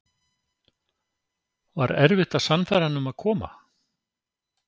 Var erfitt að sannfæra hann um að koma?